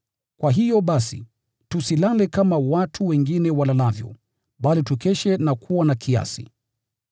Kwa hiyo basi, tusilale kama watu wengine walalavyo, bali tukeshe na kuwa na kiasi.